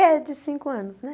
É de cinco anos, né?